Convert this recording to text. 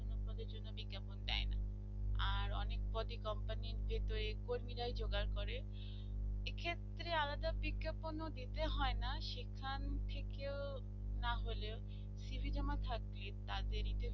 আর অনেক পদে company যে তৈরি কর্মীরা জোগাড় করে এক্ষেত্রে আলাদা বিজ্ঞাপন ও দিতে হয় না সেখান থেকে ও না হলে cv জমা দিতে থাকবে তাদেরইতে